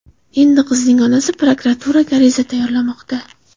Endi qizning onasi prokuraturaga ariza tayyorlamoqda.